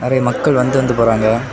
நெறைய மக்கள் வந்து வந்து போறாங்க.